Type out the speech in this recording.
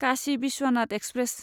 Kashi Vishwanath express